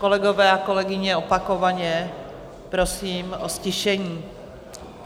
Kolegové a kolegyně, opakovaně prosím o ztišení.